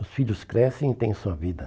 Os filhos crescem e têm sua vida.